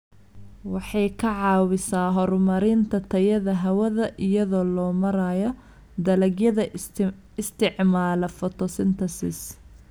Waxay ka caawisaa horumarinta tayada hawada iyada oo loo marayo dalagyada isticmaala photosynthesis.